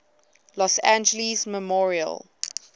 los angeles memorial